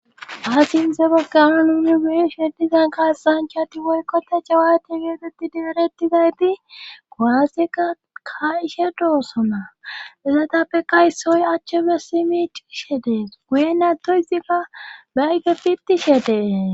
Asin zebe gawan uni guyeshe dizan kaasanchati woykkota jawaade geebeti deeretizayti goaseka kaishe doosona ezatappe kaysooy achche be simi cishe dees guye nato izika baaygefitishe dee